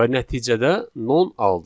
Və nəticədə non aldıq.